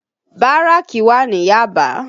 Báràkì wà ní Yaba